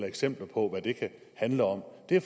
eksempler på hvad det kan handle om det